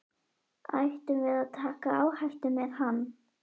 Ættum við að taka áhættu með hann?